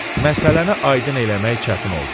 Məsələni aydın eləmək çətin oldu.